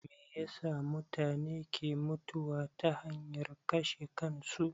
Meyasa mutune ke mutuwa ta hanyar kashe kansu?